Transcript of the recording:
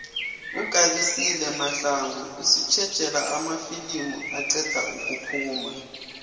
ugabisile mahlangu usitjejela amafilimu aqeda ukuphuma